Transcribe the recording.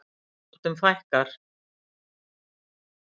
Innbrotum fækkar